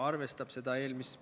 Aitäh, istungi juhataja!